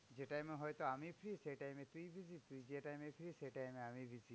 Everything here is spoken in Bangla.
যে time এ হয়তো আমি free সেই time এ তুই busy. তুই যে time এ free সেই time এ আমি busy.